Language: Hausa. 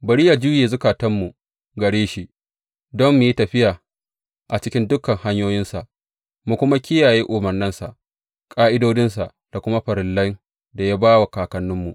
Bari yă juye zukatanmu gare shi, don mu yi tafiya a cikin dukan hanyoyinsa, mu kuma kiyaye umarnansa, ƙa’idodinsa, da kuma farillan da ya ba wa kakanninmu.